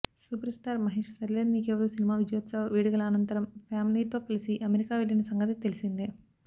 super star Mahesh Sarileru Neekevvaru సినిమా విజయోత్సవ వేడుకల అనంతరం ఫ్యామిలీతో కలసి అమెరికా వెళ్లిన సంగతి తెలిసిందే